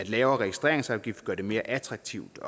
lavere registreringsafgift gør det mere attraktivt